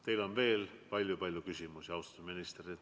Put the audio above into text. Teile on veel palju-palju küsimusi, austatud minister.